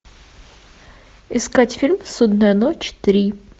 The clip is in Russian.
искать фильм судная ночь три